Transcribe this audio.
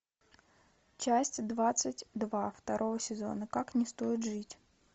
часть двадцать два второго сезона как не стоит жить